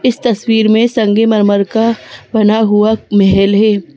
इस तस्वीर में संगे मरमर का बना हुआ महल है।